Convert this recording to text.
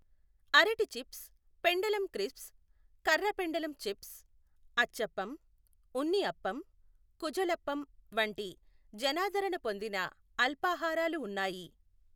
అరటి చిప్స్, పెండలం క్రిస్ప్స్, కర్రపెండలం చిప్స్, అచ్చప్పం, ఉన్ని అప్పం, కుఝలప్పం వంటి జనాదరణ పొందిన అల్పాహారాలు ఉన్నాయి.